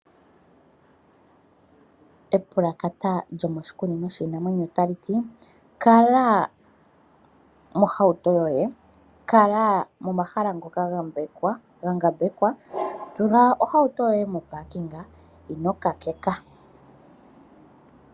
Epalakata lyomoshikunino shinamwenyo otali ti, kala mohauto yoye, kala momahala ngoka ga ngambekwa, tula ohauto yoye mo paakinga na ino ka keka.